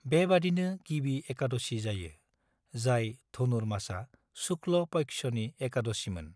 बेबादिनो गिबि एकादशी जायो, जाय धनुरमासा शुक्ल पक्षनि एकादशीमोन।